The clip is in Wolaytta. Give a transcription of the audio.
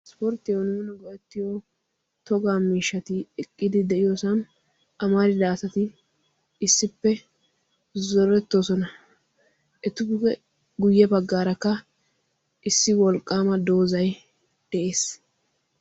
isporttiyaawu nuuni go"etiyoo togaa miishshati eqqidi de'iyoosan amarida asati issippe zoorettoosona. ettuppe guyye baggaarakka issi wolqqaama doozzay de"ees.